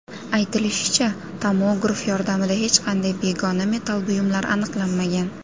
Aytilishicha, tomograf yordamida hech qanday begona metall buyumlar aniqlanmagan.